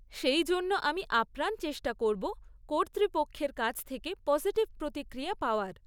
সেই জন্য আমি আপ্রাণ চেষ্টা করব কর্তৃপক্ষের কাছ থেকে পসিটিভ প্রতিক্রিয়া পাওয়ার।